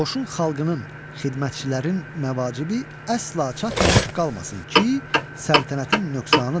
Qoşun xalqının, xidmətçilərin məvacibi əsla çatmamış qalmasın ki, səltənətin nöqsanıdır.